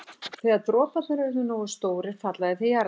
Þegar droparnir eru orðnir nógu stórir falla þeir til jarðar.